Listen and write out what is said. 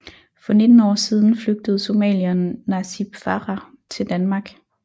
For 19 år siden flygtede somalieren Nasib Farah til Danmark